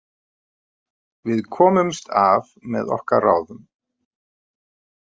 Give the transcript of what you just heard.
Við komumst af með okkar ráðum.